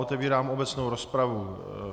Otevírám obecnou rozpravu.